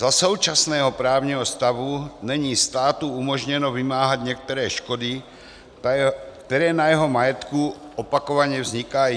Za současného právního stavu není státu umožněno vymáhat některé škody, které na jeho majetku opakovaně vznikají.